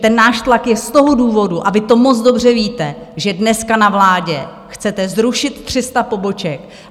Ten náš tlak je z toho důvodu a vy to moc dobře víte, že dneska na vládě chcete zrušit 300 poboček.